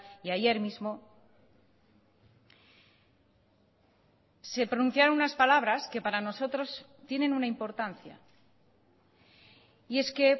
y ayer mismo se pronunciaron unas palabras que para nosotros tienen una importancia y es que